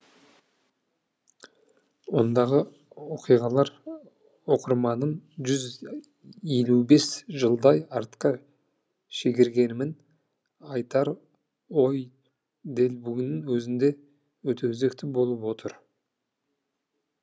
ондағы оқиғалар оқырманын жүз елу бес жылдай артқа шегергенімен айтар ойы дәл бүгіннің өзінде де өте өзекті болып отыр